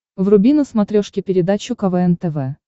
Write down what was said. вруби на смотрешке передачу квн тв